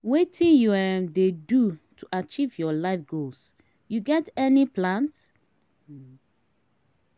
wetin you um dey do to achieve your life goals you get any plans?